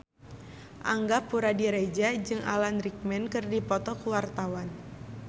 Angga Puradiredja jeung Alan Rickman keur dipoto ku wartawan